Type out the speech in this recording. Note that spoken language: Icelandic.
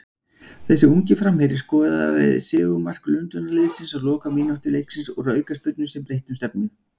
Þessi ungi framherji skoraði sigurmark Lundúnaliðsins á lokamínútu leiksins úr aukaspyrnu sem breytti um stefnu.